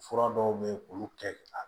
Fura dɔw bɛ yen k'olu kɛ a